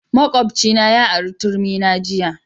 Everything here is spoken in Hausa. Makwabcina ya ari turmi na jiya